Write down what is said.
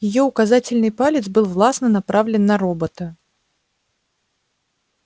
её указательный палец был властно направлен на робота